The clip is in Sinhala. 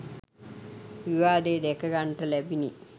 විවාදය දැක ගන්නට ලැබිණි.